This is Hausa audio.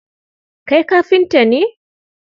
Kai kafnta ne?